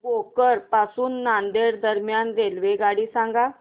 भोकर पासून नांदेड दरम्यान रेल्वेगाडी सांगा